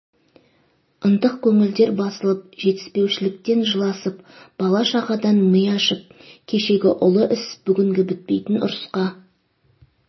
ынтық көңілдер басылып жетіспеушіліктен жыласып бала шағадан ми ашып кешегі ұлы іс бүгінгі бітпейтін ұрысқа